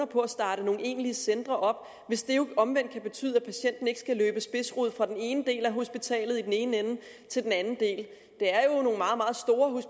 på at starte nogle egentlige centre op hvis det omvendt kan betyde at patienten ikke skal løbe spidsrod fra den ene del af hospitalet i den ene ende til den anden del